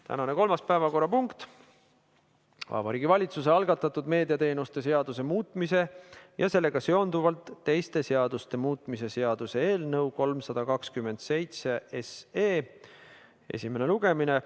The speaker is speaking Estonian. Tänane kolmas päevakorrapunkt on Vabariigi Valitsuse algatatud meediateenuste seaduse muutmise ja sellega seonduvalt teiste seaduste muutmise seaduse eelnõu 327 esimene lugemine.